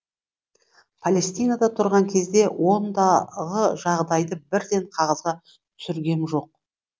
палестинада тұрған кезде ондағы жағдайды бірден қағазға түсіргем жоқ